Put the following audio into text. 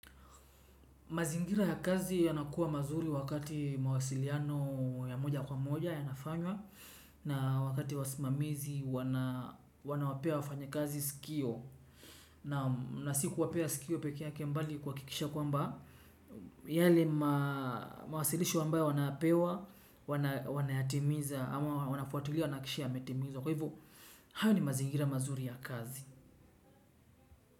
Mazingira ya kazi yanakuwa mazuri wakati mawasiliano ya moja kwa moja yanafanywa na wakati wasimamizi wanawapea wafanyakazi sikio naam na sikuwapea sikio peke yake mbali nikuhakikisha kwamba yale mawasilisho ambayo wanapewa wanayatimiza ama wanafuatulia wanahakisha yametimizwa kwa hivo hayo ni mazingira mazuri ya kazi.